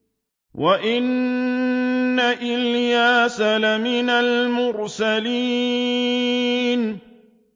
وَإِنَّ إِلْيَاسَ لَمِنَ الْمُرْسَلِينَ